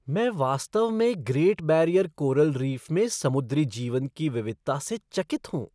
मैं वास्तव में ग्रेट बैरियर कोरल रीफ़ में समुद्री जीवन की विविधता से चकित हूँ।